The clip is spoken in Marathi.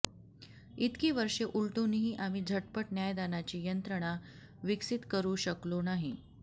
इतकी वर्षे उलटूनही आम्ही झटपट न्यायदानाची यंत्रणा विकसित करू शकलो नाही